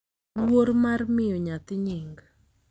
luor mar miyo nyathi nying,